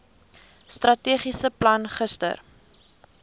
strategiese plan gister